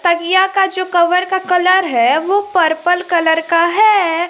तकिया का जो कवर का कलर है वो पर्पल कलर का है।